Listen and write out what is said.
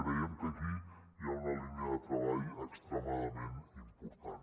creiem que aquí hi ha una línia de treball extremadament important